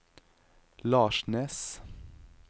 Larsnes